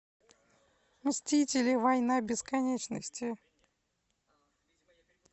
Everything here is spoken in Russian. мстители война бесконечности